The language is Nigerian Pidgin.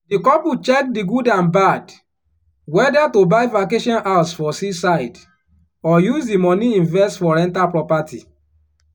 di couple check di good and bad whether to buy vacation house for seaside or use di money invest for rental property.